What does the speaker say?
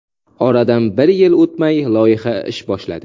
Oradan bir yil o‘tmay loyiha ish boshladi.